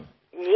हो हो नक्कीच